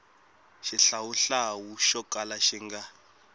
xihlawuhlawu xo kala xi nga